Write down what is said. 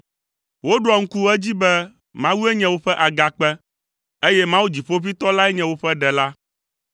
Woɖoa ŋku edzi be Mawue nye woƒe Agakpe, eye Mawu Dziƒoʋĩtɔ lae nye woƒe Ɖela.